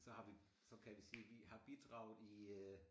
Så har vi så kan vi sige vi har bidraget i øh